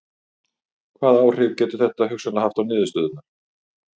Hvaða áhrif getur þetta hugsanlega haft á niðurstöðurnar?